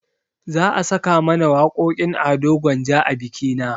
Za a saka mana waƙoƙin ado gwanja a bikina